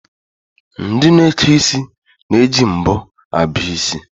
Ndị na-eke isi na-eji mbọ abọ isi.